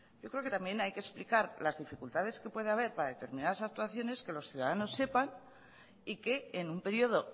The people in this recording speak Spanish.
yo creo que también hay que explicar las dificultades que puede haber para determinadas actuaciones que los ciudadanos sepan y que en un periodo